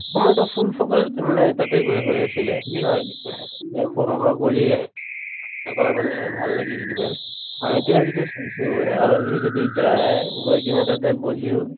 সময়তো full focus এই মানে তাতে গৈয়ে হৈ আছিলে হয় কৰি আহি মানে ভাল লাগিল কিবা এতিয়াই যিটো চাইছো আলহী যদি যায় গৈ কিনে তাতে বহিও